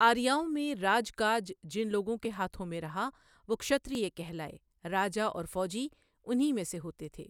آریاؤں میں راج کاج جن لوگوں کے ہاتھوں میں رہا وہ چھترے کہلائے راجا اور فوجی انہی میں سے ہوتے تھے ۔